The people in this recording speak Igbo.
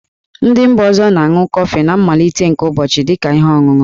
Ndị mba ọzọ na-aṅụ kọfị na mmalite nke ụbọchị dị ka ihe ọṅụṅụ.